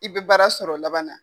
I bɛ baara sɔrɔ laban na.